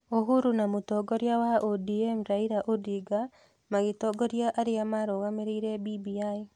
Uhuru na mũtongoria wa ODM Raila Odinga magĩtongoria arĩa marũgamĩrĩire BBI.